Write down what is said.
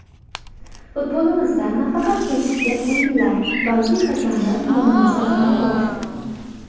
Futbolimizda nafaqat kelishilgan o‘yinlar, balki hakamlar muammosi ham bor.